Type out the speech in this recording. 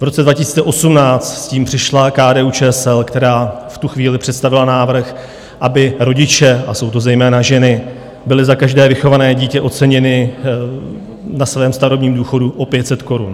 V roce 2018 s tím přišla KDU-ČSL, která v tu chvíli představila návrh, aby rodiče, a jsou to zejména ženy, byli za každé vychované dítě oceněni na svém starobním důchodu o 500 korun.